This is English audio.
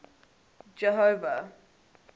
jehova